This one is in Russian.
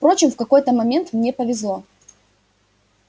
впрочем в какой-то момент мне повезло